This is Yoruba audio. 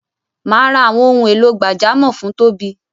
Mà á ra àwọn ohun èlò gbàjámọ̀ fún Tóbi.